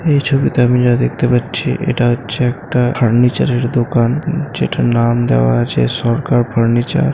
এই ছবিতে আমি যা দেখতে পাচ্ছি এটা হচ্ছে একটা ফার্নিচার এর দোকান। যেটা নাম দেওয়া আছে সরকার ফার্নিচার ।